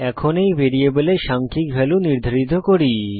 এখন এই ভ্যারিয়েবলে সাংখ্যিক ভ্যালু নির্ধারিত করি